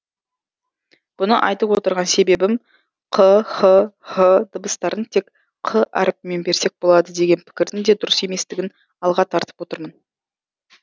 бұны айтып отырған себебім қ х һ дыбыстарын тек қ әріпімен берсек болады деген пікірдің де дұрыс еместігін алға тартып отырмын